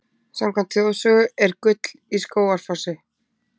Samkvæmt þjóðsögu er gull í Skógafossi.